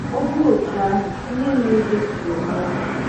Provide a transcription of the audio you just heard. Ọ bụrụ otú ahụ, ihe mere Jesu ga-eme anyị.